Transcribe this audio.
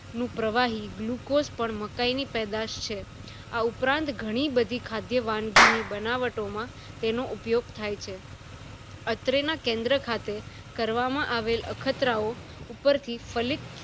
નું પ્રવાહી glucose પણ મકાય ની પેદાશ છે આં ઉપરાંત ઘણી બધી ખાદ્ય વાનગી ની બનાવટો માં ઉપયોગ થાય છે અત્રે ના કેન્દ્ર ખાતે કરવામાં આવેલ અખતરા ઓ ઉપર થી ફલીક્ત